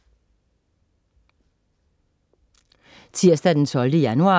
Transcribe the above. Tirsdag den 12. januar